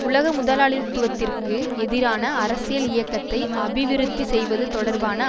உலக முதலாளித்துவத்திற்கு எதிரான அரசியல் இயக்கத்தை அபிவிருத்தி செய்வது தொடர்பான